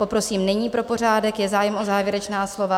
Poprosím nyní pro pořádek, je zájem o závěrečná slova?